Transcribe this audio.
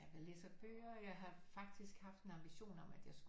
Jeg læser bøger jeg har faktisk haft en ambition om at jeg skulle